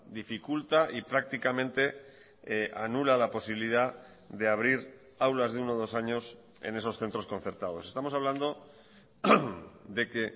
dificulta y prácticamente anula la posibilidad de abrir aulas de uno dos años en esos centros concertados estamos hablando de que